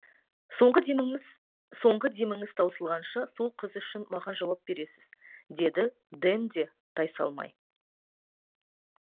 соңғы деміңіз таусылғанша сол қыз үшін маған жауап бересіз деді дэн де тайсалмай